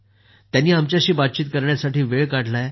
त्यांनी आमच्याशी बातचीत करण्यासाठी वेळ काढला आहे